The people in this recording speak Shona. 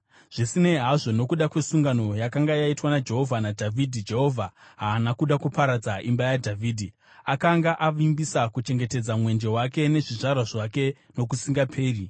Zvisinei hazvo, nokuda kwesungano yakanga yaitwa naJehovha naDhavhidhi, Jehovha haana kuda kuparadza imba yaDhavhidhi. Akanga avimbisa kuchengetedza mwenje wake nezvizvarwa zvake nokusingaperi.